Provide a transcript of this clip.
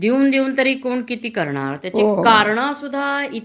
देऊन तरी कोण कीती करणार त्याची कारणे सुद्धा